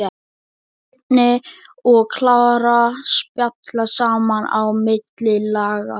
Svenni og Klara spjalla saman á milli laga.